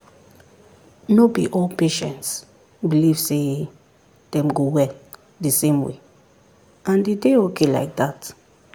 no be all patients believe sey dem go well the same way and e dey okay like that.